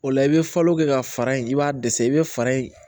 O la i bɛ falo kɛ ka fara in i b'a dɛsɛ i bɛ fara in